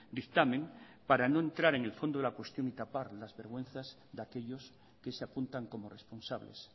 dictamen para no entrar en el fondo de la cuestión y tapar las vergüenzas de aquellos que se apuntan como responsables